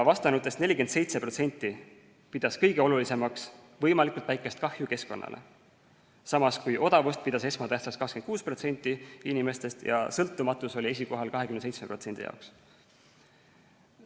Vastanutest 47% pidas kõige olulisemaks võimalikult väikest kahju keskkonnale, samas kui odavust pidas esmatähtsaks 26% inimestest ja sõltumatus oli esikohal 27% jaoks.